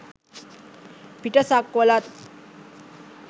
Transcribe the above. පිට සක්වළත්,